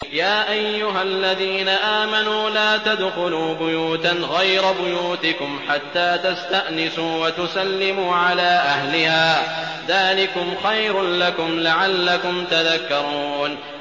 يَا أَيُّهَا الَّذِينَ آمَنُوا لَا تَدْخُلُوا بُيُوتًا غَيْرَ بُيُوتِكُمْ حَتَّىٰ تَسْتَأْنِسُوا وَتُسَلِّمُوا عَلَىٰ أَهْلِهَا ۚ ذَٰلِكُمْ خَيْرٌ لَّكُمْ لَعَلَّكُمْ تَذَكَّرُونَ